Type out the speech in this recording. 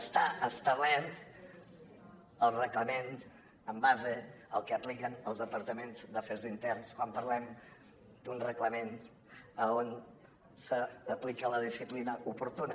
està establert al reglament en base al que apliquen els departaments d’afers interns quan parlem d’un reglament a on s’aplica la disciplina oportuna